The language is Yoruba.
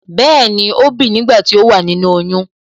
Bẹẹni,ó bìi nígbà tí ó wà nínú oyún